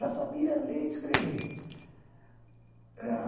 Já sabia ler e escrever.